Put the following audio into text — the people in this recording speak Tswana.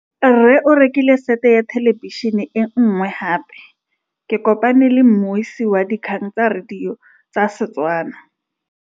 Rre o rekile sete ya thêlêbišênê e nngwe gape. Ke kopane mmuisi w dikgang tsa radio tsa Setswana.